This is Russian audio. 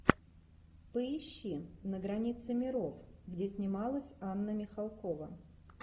поищи на границе миров где снималась анна михалкова